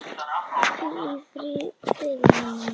Hvíl í friði mamma mín.